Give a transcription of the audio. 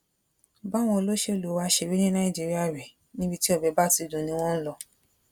báwọn olóṣèlú wá ṣe rí ní nàìjíríà rèé níbi tí ọbẹ bá ti dùn ni wọn ń lọ